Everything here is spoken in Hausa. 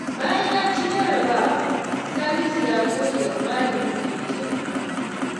Bayan ya ci jarrabawa, Salisu ya gode wa malamin da ya taimaka masa.